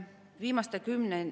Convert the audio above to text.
Aitäh!